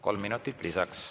Kolm minutit lisaks.